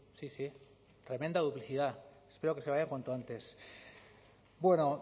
sí sí tremenda duplicidad espero que se vaya cuanto antes bueno